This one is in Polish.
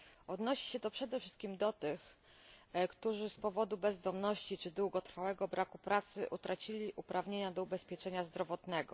Odnosi się to przede wszystkim do tych, którzy z powodu bezdomności czy długotrwałego braku pracy utracili uprawnienia do ubezpieczenia zdrowotnego.